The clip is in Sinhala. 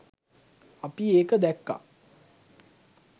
අපි ඒක දැක්කා.